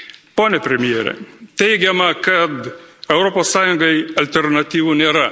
Pone premjere, teigiama, kad Europos Sąjungai alternatyvų nėra.